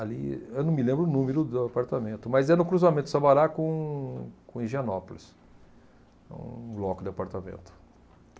ali, eu não me lembro o número do apartamento, mas é no cruzamento Sabará com com Higienópolis, um bloco de apartamento.